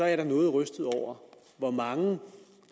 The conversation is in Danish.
jeg da noget rystet over hvor mange